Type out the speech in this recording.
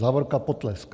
Závorka - potlesk."